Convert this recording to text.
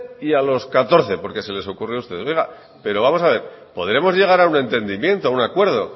y a los catorce porque se les ocurrió a ustedes oiga pero vamos a ver podremos llegar a un entendimiento a un acuerdo